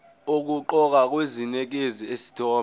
okuqoqayo kunikeza isithombe